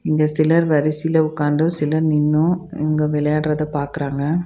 இங்க சிலர் வரிசையில உக்காந்து சிலர் நின்னு இவங்க விளையாடுறத பாக்குறாங்க.